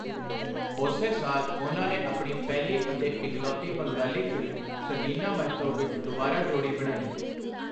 ਉਸੇ ਸਾਲ, ਉਹਨਾਂ ਨੇ ਆਪਣੀ ਪਹਿਲੀ ਅਤੇ ਇਕਲੌਤੀ ਬੰਗਾਲੀ ਫ਼ਿਲਮ ਸਗੀਨਾ ਮਹਤੋ ਵਿੱਚ ਦੁਬਾਰਾ ਜੋੜੀ ਬਣਾਈ।